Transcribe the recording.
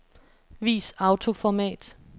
Vis autoformat.